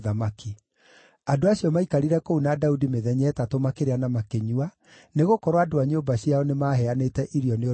Andũ acio maikarire kũu na Daudi mĩthenya ĩtatũ makĩrĩa na makĩnyua, nĩgũkorwo andũ a nyũmba ciao nĩmaheanĩte irio nĩ ũndũ wao.